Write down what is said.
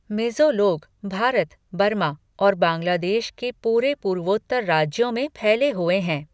मिज़ो लोग भारत, बर्मा और बांग्लादेश के पूरे पूर्वोत्तर राज्यों में फैले हुए हैं।